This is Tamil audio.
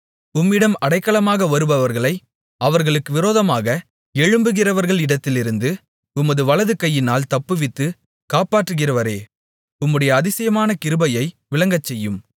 உம்மிடம் அடைக்கலமாக வருபவர்களை அவர்களுக்கு விரோதமாக எழும்புகிறவர்களிடத்திலிருந்து உமது வலதுகையினால் தப்புவித்து காப்பாற்றுகிறவரே உம்முடைய அதிசயமான கிருபையை விளங்கச்செய்யும்